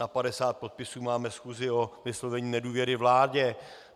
Na 50 podpisů máme schůzi o vyslovení nedůvěry vládě.